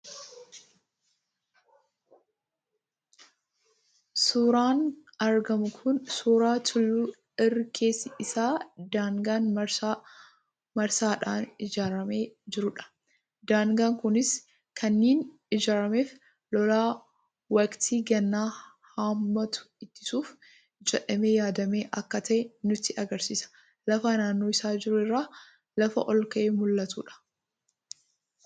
Suuraan argamu kun suuraa tulluu irri keessi isaa daagaan marsaa marsaadhaan ijaaramee jirudha. Daagaan kunis kaninni ijaarameef lolaa waqtii gannaa hammaatu ittisuuf jedhamee yaadamee akka ta'e nutti agarsiisa. Lafa naannoo isaa jiru irraa lafa olka'ee mul'atudha.